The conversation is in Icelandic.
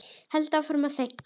Held áfram að þegja.